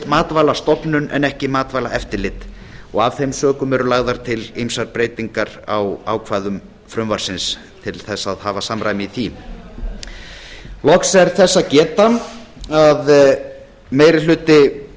matvælastofnun en ekki matvælaeftirlit af þeim sökum eru lagðar til breytingar á ýmsum ákvæðum frumvarpsins til að hafa samræmi í því loks er þess að geta að meiri hluti